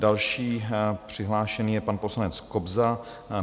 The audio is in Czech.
Další přihlášený je pan poslanec Kobza.